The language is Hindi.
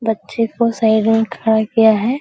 बच्चों को साइड में खड़ा किया है।